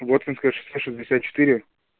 воткинское шоссе шестьдесят четыре